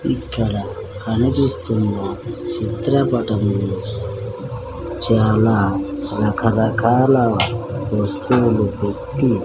ఇక్కడ కనిపిస్తున్న చిత్రపటములో చాలా రకరకాల వస్తువులు పెట్టి--